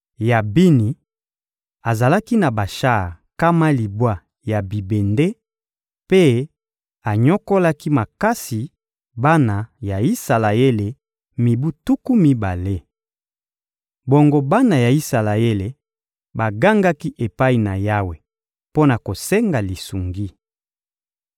Yabini azalaki na bashar nkama libwa ya bibende, mpe anyokolaki makasi bana ya Isalaele mibu tuku mibale. Bongo bana ya Isalaele bagangaki epai na Yawe mpo na kosenga lisungi.